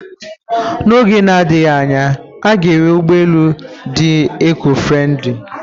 Na oge na-adịghị anya, a ga-enwe ụgbọ elu dị ekọ-friendlị